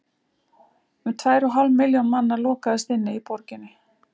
Um tvær og hálf milljón manna lokaðist inni í borginni.